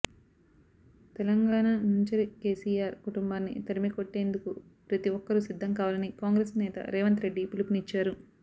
తెలంగాణ నుంచరి కేసీఆర్ కుటుంబాన్ని తరిమికొ ట్టేందుకు ప్రతి ఒక్కరూ సిద్ధం కావాలని కాంగ్రెస్ నేత రేవంత్ రెడ్డి పిలుపునిచ్చారు